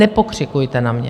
Nepokřikujte na mě.